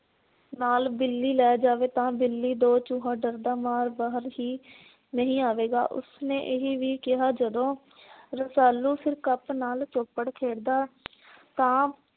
ਨਾਲ ਬਿੱਲੀ ਲਾ ਜਾਵੇ ਤਾਂ ਬਿੱਲੀ ਦੋ ਡਰਦਾ ਮਾਰ ਬਾਹਰ ਹੀ ਨਹੀਂ ਆਵੇਗਾ। ਉਸ ਨੇ ਇਹੀ ਵੀ ਕਿਹਾ ਜਦੋ ਰਸਾਲੂ ਸਿਰਕਪ ਨਾਲ ਚੋਪੜ ਖੇਡ ਦਾ ਤਾਂ